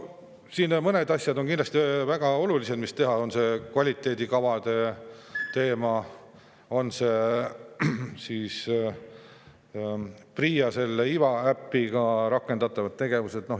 Mõned asjad on siin kindlasti väga olulised, mida tuleks teha: on see kvaliteedikavade teema, on need PRIA Iva äpiga rakendatavad tegevused.